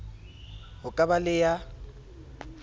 ho ka ba le ya